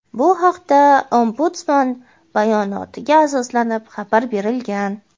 Bu haqda Ombudsman bayonotiga asoslanib xabar berilgan.